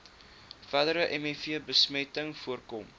verdere mivbesmetting voorkom